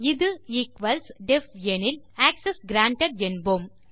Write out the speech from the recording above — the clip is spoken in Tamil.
இது ஈக்வல்ஸ் டெஃப் எனில் ஆக்செஸ் கிரான்டட் என்போம்